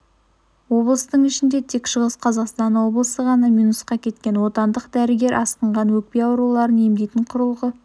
облыстың ішінде тек шығыс қазақстан облысы ғана минусқа кеткен отандық дәрігер асқынған өкпе ауруларын емдейтін құрылғы